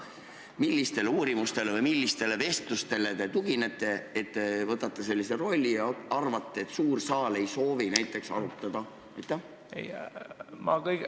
Millistele uurimustele või millistele vestlustele te tuginete, kui võtate endale sellise rolli ja arvate, et suur saal ei soovi asja arutada?